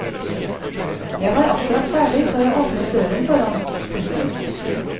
Jeg var akkurat ferdig så jeg åpnet døren for han. punktum